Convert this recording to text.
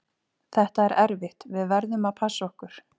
Þetta er erfitt, við verðum að passa okkur.